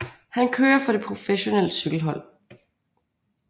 Han kører for det professionelle cykelhold